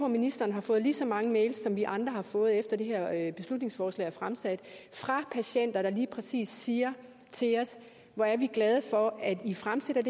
ministeren har fået lige så mange mails som vi andre har fået efter det her beslutningsforslag er fremsat fra patienter der lige præcis siger til os hvor er vi glade for at i fremsætter